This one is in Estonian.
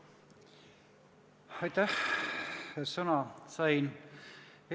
Aitäh, et sõna sain!